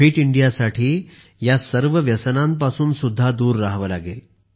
fit इंडियासाठी या सर्व व्यसनांपासून सुद्धा दूर राहावे लागेल